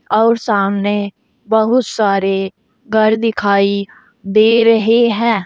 और सामने बहुत सारे घर दिखाई दे रहे है।